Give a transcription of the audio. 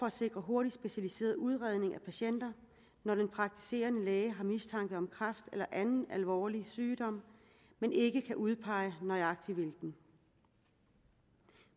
at sikre hurtig specialiseret udredning af patienter når den praktiserende læge har mistanke om kræft eller anden alvorlig sygdom men ikke kan udpege nøjagtig hvilken